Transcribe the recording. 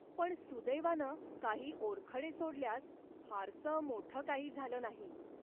पण सुदैवानं काही ओरखडे सोडल्यास फारसं मोठं काही झालं नाही.